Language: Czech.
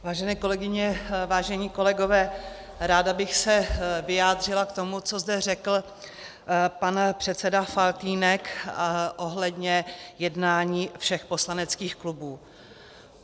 Vážené kolegyně, vážení kolegové, ráda bych se vyjádřila k tomu, co zde řekl pan předseda Faltýnek ohledně jednání všech poslaneckých klubů.